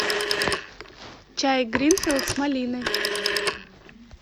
чай гринфилд с малиной